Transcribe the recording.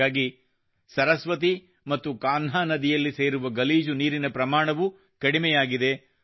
ಹಾಗಾಗಿ ಸರಸ್ವತಿ ಮತ್ತು ಕಾನ್ಹಾ ನದಿಯಲ್ಲಿ ಸೇರುವ ಗಲೀಜು ನೀರಿನ ಪ್ರಮಾಣವೂ ಕಡಿಮೆಯಾಗಿದೆ